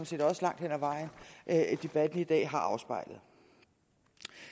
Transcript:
set også langt hen ad vejen at debatten i dag har afspejlet